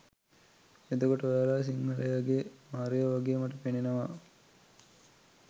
එතකොට ඔයාලා සිංහලයගේ මාරයෝ වගේ මට පෙනෙනවා